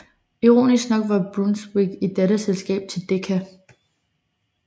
Ironisk nok var Brunswick et datterselskab til Decca